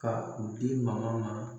Ka u di magɔ ma